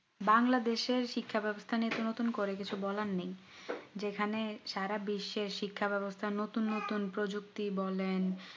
বাংলাদেশ এর শিক্ষা ব্যবস্থা নিয়ে নতুন করে কিছু বলার নেই যেখানে সারা বিশ্বে শিক্ষা ব্যবস্থা নতুন নতুন প্রযুক্তি বলেন